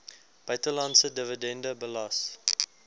buitelandse dividende belas